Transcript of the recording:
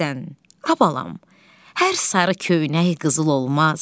Missən, a balam, hər sarı köynək qızıl olmaz.